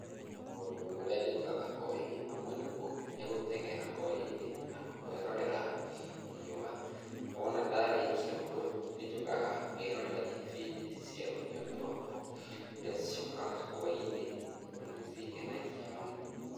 Maũndũ marĩa njĩkaga hwaĩ-inĩ, hamwe namo nĩ gũteng’era hwaĩ-inĩ na kwĩrorera riũa. Wona ndarĩkia ũguo, nĩnjũkaga ngerorera ibindi cia rũthiomi rwakwa, iria ciũkaga hwaĩ-inĩ tondũ nĩ cingenagia mũno.